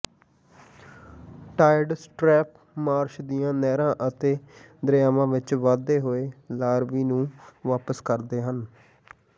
ਟਾਇਰਡ ਸਟ੍ਰੈੱਪ ਮਾਰਸ਼ ਦੀਆਂ ਨਹਿਰਾਂ ਅਤੇ ਦਰਿਆਵਾਂ ਵਿੱਚ ਵਧੇ ਹੋਏ ਲਾਰਵੀ ਨੂੰ ਵਾਪਸ ਕਰਦੇ ਹਨ